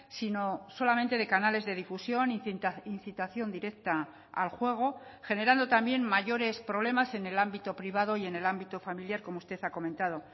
sino solamente de canales de difusión incitación directa al juego generando también mayores problemas en el ámbito privado y en el ámbito familiar como usted ha comentado